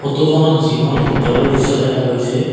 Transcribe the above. ফটোখনত জিমৰ ভিতৰৰ দৃশ্য দেখা গৈছে।